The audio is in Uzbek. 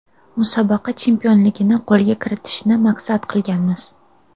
Musobaqa chempionligini qo‘lga kiritishni maqsad qilganmiz.